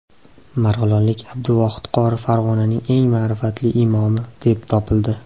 Marg‘ilonlik Abduvohid qori Farg‘onaning eng ma’rifatli imomi deb topildi.